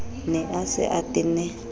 ne a se a tenne